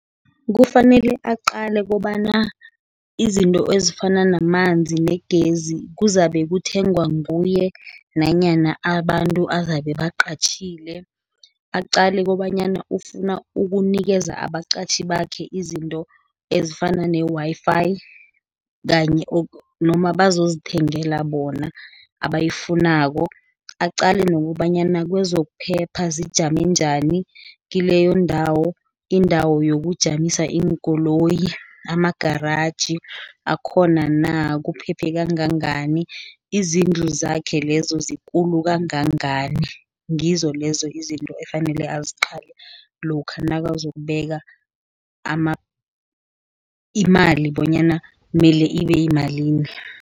Kufanele aqale, kobana izinto ezifana namanzi, negezi, kuzabe kuthengwa nguye nanyana abantu azabe baqatjhile. Aqale kobanyana ufuna ukunikeza abaqatjhi bakhe izinto ezifana ne-Wi_Fi noma bazozithengela bona abayifunako. Aqale nokobanyana kwezokuphepha zijame njani kileyo ndawo, indawo yokujamisa iinkoloyi, amagaraji akhona na, kuphephe kangangani, izindlu zakhe lezo, zikulu kangangani. Ngizo lezo izinto efanele aziqale lokha nakazokubeka imali bonyana mele ibeyimalini.